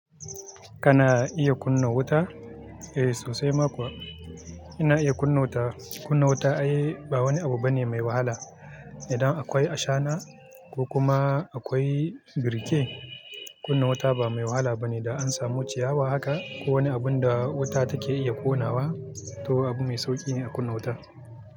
Kana iya kunna wuta? Eh sosai ma kuwa ina iya kunna wuta. Kunna wuta ai ba wani abu bane mai wahala. Idan akwai ashana ko kuma akwai birke, kunna wuta ba mai wahala bane da an samu ciyawa haka ko wani abun da wuta take iya konawa to abu mai sauƙi ne a kunna wuta.